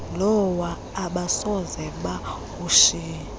lowa abasoze bawushiye